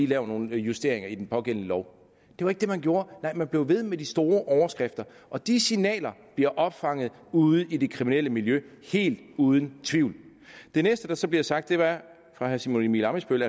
lavet nogle justeringer i den pågældende lov det var ikke det man gjorde nej man blev ved med de store overskrifter og de signaler bliver opfanget ude i det kriminelle miljø helt uden tvivl det næste der så blev sagt af herre simon emil ammitzbøll